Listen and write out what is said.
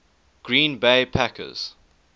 green bay packers